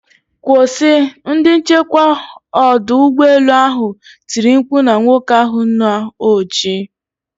Kwụsị!,ndi nchekwa odu ugbo elu ahụ tiri mkpu na nwoke ahụ na oji.